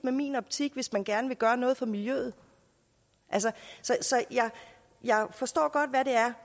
i min optik hvis man gerne vil gøre noget for miljøet så jeg forstår godt hvad det er